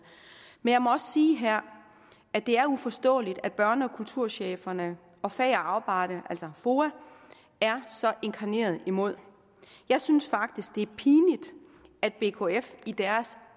men jeg må også sige her at det er uforståeligt at børne og kulturcheferne og fag og arbejde altså foa er så inkarneret imod jeg synes faktisk det er pinligt at bkf i deres